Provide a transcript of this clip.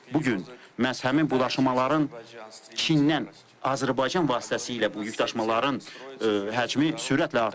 Bu gün məhz həmin bu daşımaların Çindən Azərbaycan vasitəsilə bu yükdaşımaların həcmi sürətlə artır.